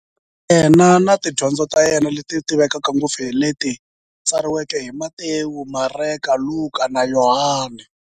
Yena na tidyondzo ta yena, leti tivekaka ngopfu hi leti tsariweke hi-Matewu, Mareka, Luka, na Yohani.